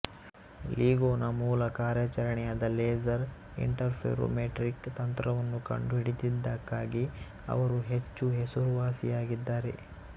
LIGO ನ ಮೂಲ ಕಾರ್ಯಾಚರಣೆಯಾದ ಲೇಸರ್ ಇಂಟರ್ಫೆರೋಮೆಟ್ರಿಕ್ ತಂತ್ರವನ್ನು ಕಂಡುಹಿಡಿದಿದ್ದಕ್ಕಾಗಿ ಅವರು ಹೆಚ್ಚು ಹೆಸರುವಾಸಿಯಾಗಿದ್ದಾರೆ